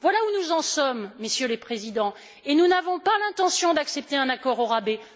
Voilà où nous en sommes, Messieurs les Présidents, et nous n'avons pas l'intention d'accepter un accord au rabais.